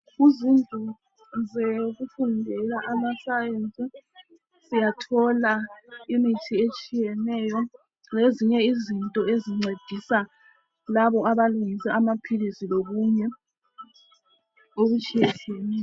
Izindlu zekufundela amaScience siyathola imithi etshiyeneyo zezinye izinto ezincedisa labo abalungisa amaphilisi lokunye okutshiyetshiyeneyo.